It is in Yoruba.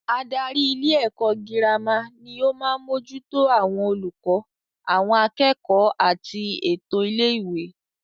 Adarí ilé ẹ̀kọ́ girama ni o maá mójútó àwọn olùkọ́, àwọn akẹ́kọ̀ọ́ àti ètò ilé ìwé